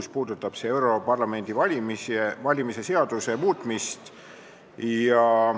See puudutab europarlamendi valimise seaduse muutmist.